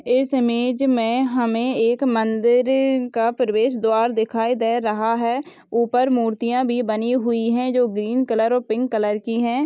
इस इमेज में हमे एक मंदिर का प्रवेश द्वार दिखाई दे रहा है ऊपर मूर्तियां भी बनी हुई है जो ग्रीन कलर और पिंक कलर की है।